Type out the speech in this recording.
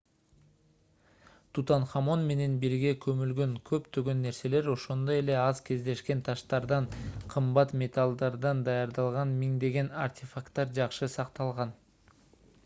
тутанхамон менен бирге көмүлгөн көптөгөн нерселер ошондой эле аз кездешкен таштардан кымбат металлдардан даярдалган миңдеген артефакттар жакшы сакталган